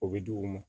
O bɛ di u ma